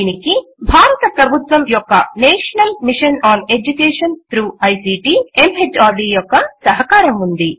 దీనికి భారత ప్రభుత్వము యొక్క national mission on education through ICT MHRD యొక్క సహకారము ఉన్నది